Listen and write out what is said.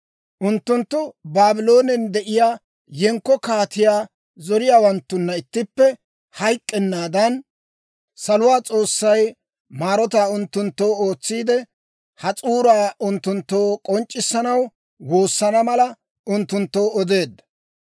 Unttunttu Baabloonen de'iyaa yenkko kaatiyaa zoriyaawanttunna ittippe hayk'k'ennaadan, saluwaa S'oossay maarotaa unttunttoo ootsiide, ha s'uuraa unttunttoo k'onc'c'issanaw woosana mala, unttunttoo odeedda.